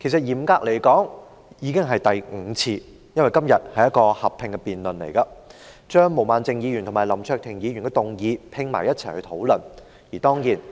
嚴格來說，其實已經是第五次，因為今天進行合併辯論，一併討論毛孟靜議員和林卓廷議員的議案。